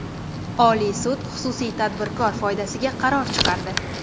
Oliy sud xususiy tadbirkor foydasiga qaror chiqardi.